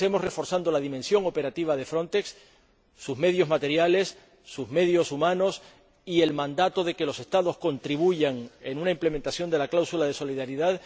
Y lo hacemos reforzando la dimensión operativa de Frontex, sus medios materiales, sus medios humanos y el mandato de que los Estados contribuyan, en una implementación de la cláusula de solidaridad